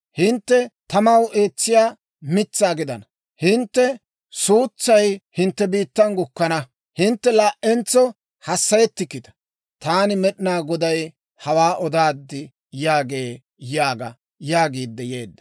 Hintte tamaw eetsiyaa mitsaa gidana; hintte suutsay hintte biittan gukkana; hintte laa"entso hassayettikkita. Taani Med'inaa Goday hawaa odaad» yaagee› yaaga» yaagiidde yeedda.